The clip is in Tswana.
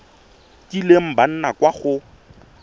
kileng ba nna kwa go